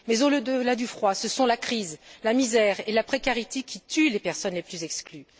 Mais au delà du froid, ce sont la crise, la misère et la précarité qui tuent les personnes les plus exclues.